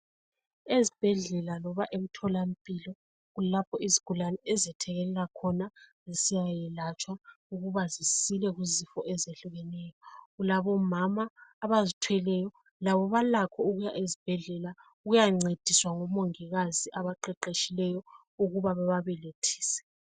Ezibhedlela loba emtholampilo kulapho izigulane ezethekelela khona zisiyayelatshwa ukuba zisuke kuzifo ezehlukeneyo. Kulabomama abazithweleyo. Labo balakho ukuya ezibhedlela ukuyancediswa ngomongikazi abaqeqetshileyo ukuba bababelethise.